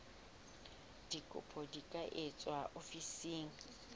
dikopo di ka etswa ofising